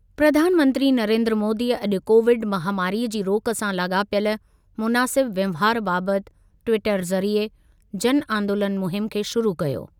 प्रधानमंत्री नरेन्द्र मोदीअ अॼु कोविड महामारीअ जी रोक सां लाॻापियल मुनासिब वहिंवारु बाबति ट्विटर ज़रिए जन आंदोलनु मुहिमु खे शुरु कयो।